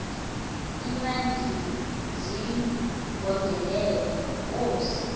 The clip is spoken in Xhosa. iimantyi zigondelene neenkosi